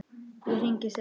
Ég hringi seinna.